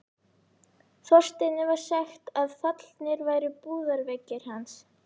Þorsteini var sagt að fallnir væri búðarveggir hans.